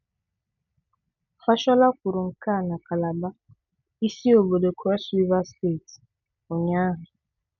Fashola kwuru nke a na Kalaba, isi obodo Kros Riva steeti, ụnyaahụ.